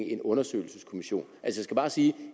en undersøgelseskommission